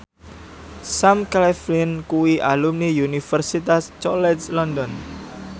Sam Claflin kuwi alumni Universitas College London